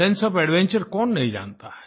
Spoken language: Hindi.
सेंसे ओएफ एडवेंचर कौन नहीं जानता है